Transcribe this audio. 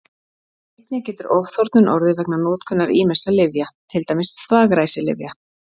Einnig getur ofþornun orðið vegna notkunar ýmissa lyfja, til dæmis þvagræsilyfja.